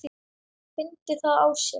Fyndi það á sér.